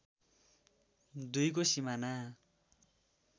२ को सीमाना